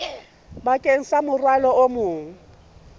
bakeng sa morwalo o mong